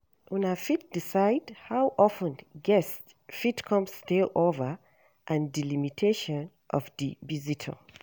una fit decide how of ten guests fit come stay over and di limitations of di visitor